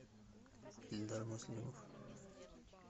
эльдар муслимов